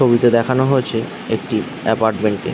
ছবিতে দেখানো হয়েছে একটি অ্যাপার্টমেন্ট -কে ।